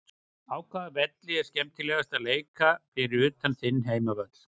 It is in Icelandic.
Á hvaða velli er skemmtilegast að leika fyrir utan þinn heimavöll?